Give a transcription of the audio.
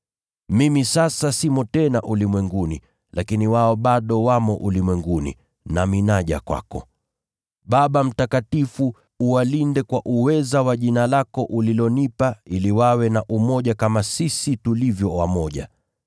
Mimi sasa simo tena ulimwenguni, lakini wao bado wamo ulimwenguni, nami naja kwako. Baba Mtakatifu, uwalinde kwa uweza wa jina lako ulilonipa, ili wawe na umoja kama sisi tulivyo wamoja.